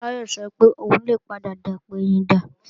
Táyọ̀ sọ pé òun lè padà dapẹ̀yìndà